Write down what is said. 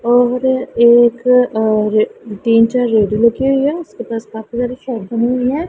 और एक और तीन चार रेड़ी रखी हुई है उसके पास काफी सारी बनी हुई है।